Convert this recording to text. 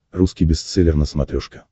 русский бестселлер на смотрешке